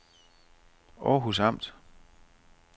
Århus Amt